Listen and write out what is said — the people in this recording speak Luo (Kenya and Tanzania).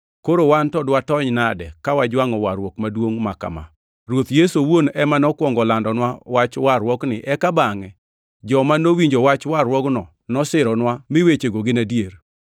koro wan to dwatony nade ka wajwangʼo warruok maduongʼ ma kama? Ruoth Yesu owuon ema nokwongo olandonwa Wach warruokni eka bangʼe joma nowinjo wach warruokno nosironwa ni wechego gin adier.